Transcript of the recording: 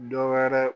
Dɔ wɛrɛ